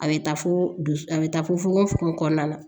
A bɛ taa fo du a bɛ taa fo fogo fogo kɔnɔna na